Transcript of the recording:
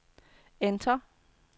enter